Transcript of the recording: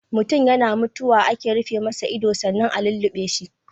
Mutun yana mutuwa ake rufe masa ido sannan a lulluɓe shi.